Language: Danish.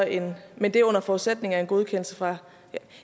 18 men det er under forudsætning af en godkendelse fra